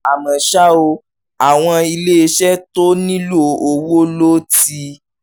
àmọ́ ṣá o àwọn iléeṣẹ́ tó nílò owó ló ti